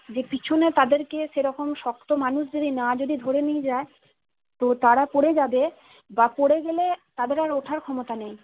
যে পিছনে তাদেরকে সেরকম শক্ত মানুষ যুদি না যদি ধরে নিয়ে যাই তো তারা পড়ে যাবে বা পড়ে গেলে তাদের আর ওঠার ক্ষমতা নাই